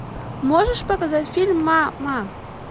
можешь показать фильм мама